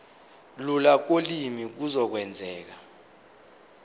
lula kolimi kuzokwenzeka